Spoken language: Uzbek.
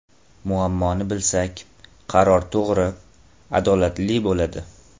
Muammoni bilsak, qaror to‘g‘ri, adolatli bo‘ladi.